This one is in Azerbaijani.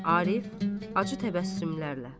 Arif acı təbəssümlərlə.